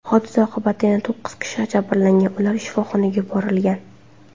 Hodisa oqibatida yana to‘qqiz kishi jabrlangan, ular shifoxonaga yuborilgan.